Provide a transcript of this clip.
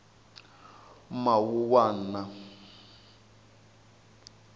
mawuwana